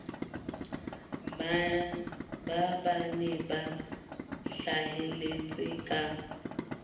ba bane ba hlahelletseng ka